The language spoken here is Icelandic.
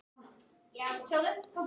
Hnyklar svo brýnnar hugsi.